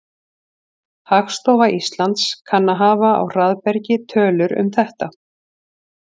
Hagstofa Íslands kann að hafa á hraðbergi tölur um þetta.